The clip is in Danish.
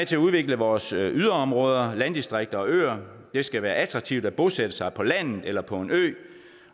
til at udvikle vores yderområder landdistrikter og øer det skal være attraktivt at bosætte sig på landet eller på en ø